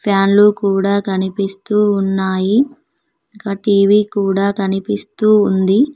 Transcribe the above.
Fan లు కూడా కనిపిస్తూ ఉన్నాయి గా టీ_వీ కూడా కనిపిస్తూ ఉంది.